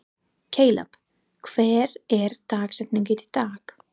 Kaleb, hver er dagsetningin í dag?